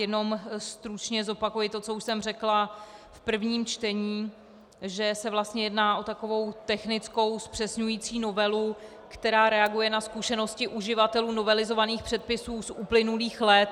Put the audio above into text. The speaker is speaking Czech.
Jenom stručně zopakuji to, co už jsem řekla v prvním čtení, že se vlastně jedná o takovou technickou zpřesňující novelu, která reaguje na zkušenosti uživatelů novelizovaných předpisů z uplynulých let.